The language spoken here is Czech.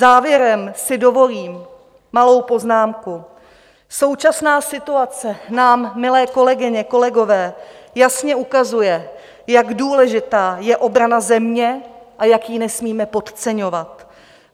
Závěrem si dovolím malou poznámku: Současná situace nám, milé kolegyně, kolegové, jasně ukazuje, jak důležitá je obrana země a jak ji nesmíme podceňovat.